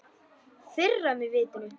Firra mig vitinu.